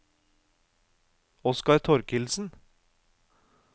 Oskar Torkildsen